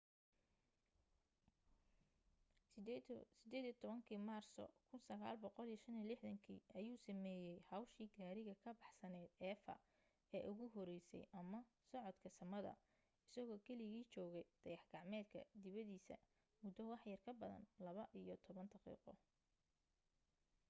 18 maarso 1965 ayuu sameeyay hawshii gaariga ka baxsanayd eva ee ugu horeysay ama socodka samada isagoo keligii joogay dayax gacmeedka dibadiisa muddo waxyar ka badan laba iyo toban daqiiqo